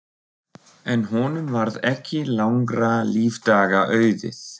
En honum varð ekki langra lífdaga auðið.